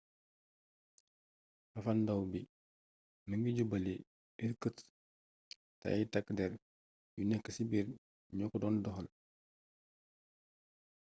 fafalndaaw bi mi ngi jubali irkutsk te ay takk der yu nekk ci biir ñoo ko doon doxal